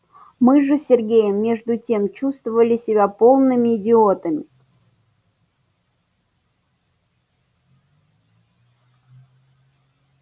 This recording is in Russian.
мы же с сергеем между тем чувствовали себя полными идиотами